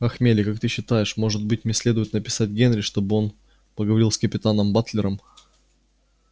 ах мелли как ты считаешь может быть мне следует написать генри чтобы он поговорил с капитаном батлером